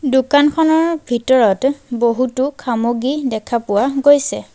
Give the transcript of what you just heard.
দোকানখনৰ ভিতৰত বহুতো খামগ্ৰী দেখা পোৱা গৈছে।